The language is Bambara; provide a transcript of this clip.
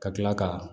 Ka kila ka